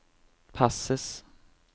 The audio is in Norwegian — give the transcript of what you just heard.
passes